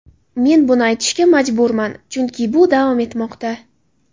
Men buni aytishga majburman, chunki bu davom etmoqda.